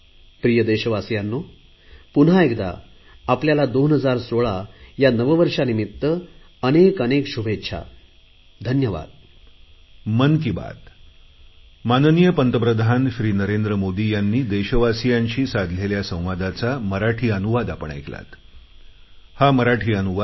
प्रिय देशवासियांनो पुन्हा एकदा आपल्याला 2016 या नववर्षानिमित्त खूप खूप शुभेच्छा धन्यवाद